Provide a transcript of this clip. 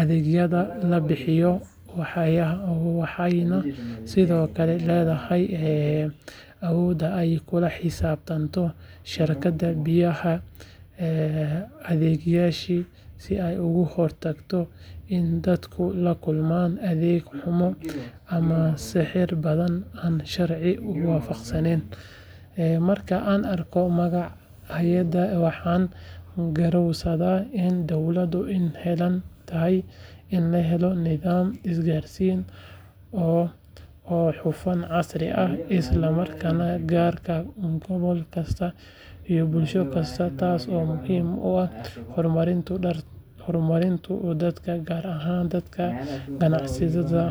adeegyada la bixiyo waxayna sidoo kale leedahay awood ay kula xisaabtanto shirkadaha bixiya adeegyadaas si ay uga hortagto in dadku la kulmaan adeeg xumo ama sicir barar aan sharciga waafaqsanayn marka aan arko magaca hay’addan waxaan garowsadaa in dowladdu u heelan tahay in la helo nidaam isgaarsiineed oo hufan casri ah isla markaana gaara gobol kasta iyo bulsho kasta taas oo muhiim u ah horumarinta dalka gaar ahaan dhanka ganacsiga.